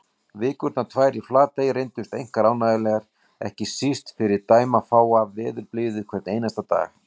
Vikurnar tvær í Flatey reyndust einkar ánægjulegar, ekki síst fyrir dæmafáa veðurblíðu hvern einasta dag.